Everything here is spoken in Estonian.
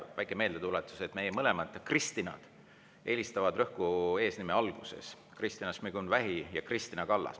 Väike meeldetuletus: meie mõlemad Kristinad eelistavad rõhku eesnime alguses: Kristina Šmigun-Vähi ja Kristina Kallas.